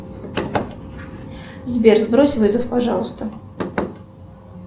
сбер сбрось вызов пожалуйста